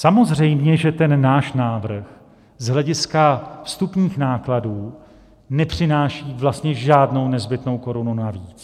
Samozřejmě že ten náš návrh z hlediska vstupních nákladů nepřináší vlastně žádnou nezbytnou korunu navíc.